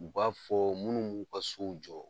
U b'a fɔ munnu b'u ka sow jɔ